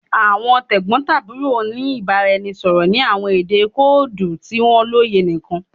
Awọn tegbotaburo n ni ibaraẹnisọrọ ni awọn ede koodu ti wọn loye nikan